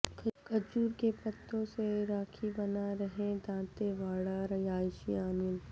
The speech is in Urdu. کھجور کے پتوں سے راکھی بنا رہے ہیں دانتے واڑہ رہائشی انیل